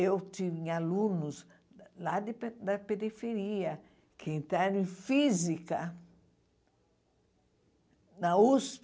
Eu tinha alunos lá de pe da periferia, que entraram em física na USP.